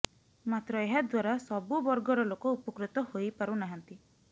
ମାତ୍ର ଏହା ଦ୍ବାରା ସବୁ ବର୍ଗର ଲୋକ ଉପକୃତ ହୋଇପାରୁ ନାହାନ୍ତି